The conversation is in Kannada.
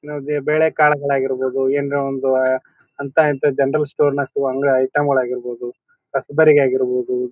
ಇವಾಗ ಬೇಳೆ ಕಾಳು ಗಳಾಗಿರಬಹುದು ಎನ್ರೇ ಒಂದು ಆಹ್ಹ್ ಹಂತಾ ಹಿಂತಾ ಜನರಲ್ ಸ್ಟೋರ್ ನಾ ಸಿಗೋ ಐಟಂ ಗಳಾಗಿರಬಹುದು ಕಸಬರಾಗಿ ಆಗಿರಬಹುದು.